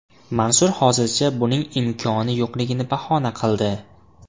Mansur hozircha buning imkoni yo‘qligini bahona qildi.